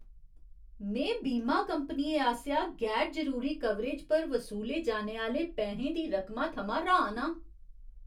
में बीमा कंपनियें आसेआ गैर जरूरी कवरेज पर वसूले जाने आह्‌ले पैहें दी रकमा थमां र्हान आं।